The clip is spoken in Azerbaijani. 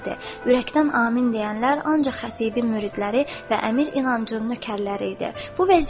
Ürəkdən amin deyənlər ancaq xətibin müridləri və əmir İnancın nökərləri idi.